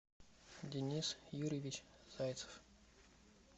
денис юрьевич зайцев